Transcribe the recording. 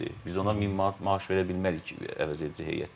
Biz onlara 1000 manat maaş verə bilmirik ki, əvəzedici heyətdə.